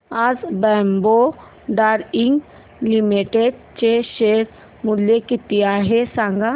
आज Bombay Dyeing Limited चे share मूल्य किती आहे सांगा